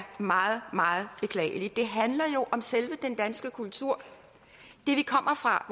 meget meget beklageligt det handler jo om selve den danske kultur det vi kommer fra